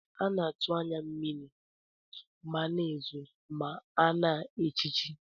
Ana atu anya na mmiri amana ezo ma ana echichi.